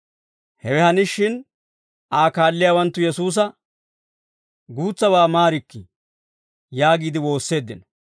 Hewe hanishin, Aa kaalliyaawanttu Yesuusa, «Guutsabaa maarikkii!» yaagiide woosseeddino.